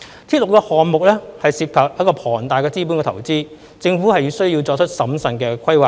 鐵路項目涉及龐大的資本投資，政府需要作出審慎的規劃。